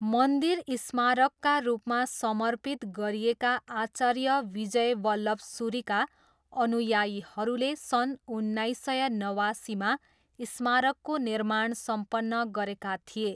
मन्दिर स्मारकका रूपमा समर्पित गरिएका आचार्य विजय वल्लभसुरीका अनुयायीहरूले सन् उन्नाइस सय नवासीमा स्मारकको निर्माण सम्पन्न गरेका थिए।